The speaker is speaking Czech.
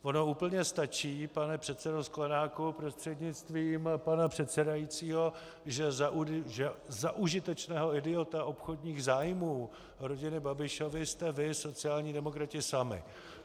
Ono úplně stačí, pane předsedo Sklenáku prostřednictvím pana předsedajícího, že za užitečného idiota obchodních zájmů rodiny Babišovy jste vy sociální demokrati sami.